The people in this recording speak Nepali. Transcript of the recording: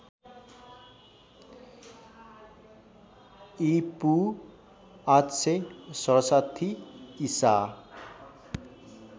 ईपू ८६७ ईसा